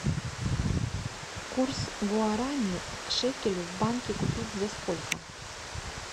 курс гуарани к шекелю в банке купить за сколько